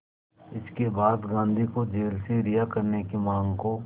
इसके बाद गांधी को जेल से रिहा करने की मांग को